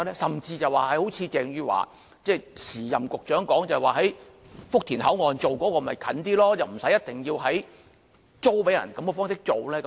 甚至好像鄭汝樺，即前任局長說在福田口岸進行便會較近，不一定要以租給內地這種方式進行。